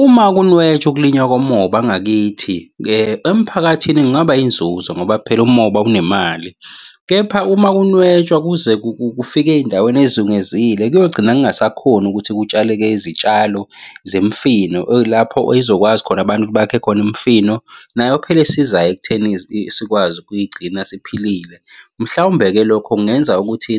Uma kunwetshwa ukulinywa komoba ngakithi emphakathini kungaba yinzuzo ngoba phela umoba unemali, kepha uma kunwetshwa kuze kufike ey'ndaweni ey'zungezile kuyogcina kungasakhoni ukuthi kutshaleke izitshalo zemifino lapho eyizokwazi khona abantu bakhe khona imifino nayo phela esizayo ekutheni sikwazi ukuyigcina siphilile. Mhlawumbe-ke lokho kungenza ukuthi